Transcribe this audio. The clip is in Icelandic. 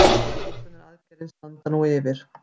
Björgunaraðgerðir standa nú yfir